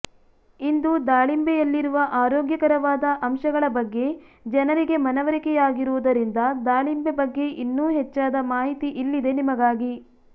ಇಂದು ದಾಳಿಂಬೆಂುುಲ್ಲಿರುವ ಆರೋಗ್ಯಕರವಾದ ಅಂಶಗಳ ಬಗ್ಗೆ ಜನರಿಗೆ ಮನವರಿಕೆ ಆಗಿರುವುದರಿಂದ ದಾಳಿಂಬೆ ಬಗ್ಗೆ ಇನ್ನೂ ಹೆಚ್ಚಾದ ಮಾಹಿತಿ ಇಲ್ಲಿದೆ ನಿಮಗಾಗಿ